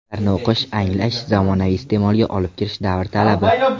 Ularni o‘qish, anglash, zamonaviy iste’molga olib kirish davr talabi.